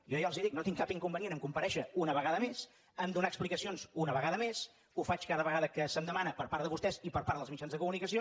jo ja els ho dic no tinc cap inconvenient a comparèi·xer una vegada més a donar explicacions una vegada més ho faig cada vegada que se’m demana per part de vostès i per part dels mitjans de comunicació